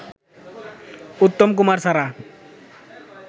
উত্তম কুমার ছাড়া